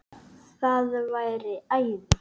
Það væri æði